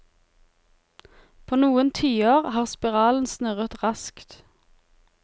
På noen tiår har spiralen snurret raskt.